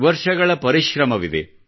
ವರ್ಷಗಳ ಪರಿಶ್ರಮವಿದೆ